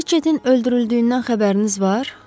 Riçetin öldürüldüyündən xəbəriniz var?